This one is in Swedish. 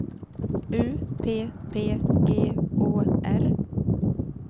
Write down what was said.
U P P G Å R